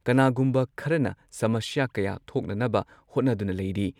ꯀꯅꯥꯒꯨꯝꯕ ꯈꯔꯅ ꯁꯃꯁ꯭ꯌꯥ ꯀꯌꯥ ꯊꯣꯛꯅꯅꯕ ꯍꯣꯠꯅꯗꯨꯅ ꯂꯩꯔꯤ ꯫